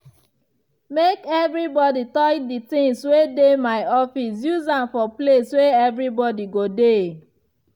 make nobody touch di tings wey dey my office use am for place wey everi body go dey.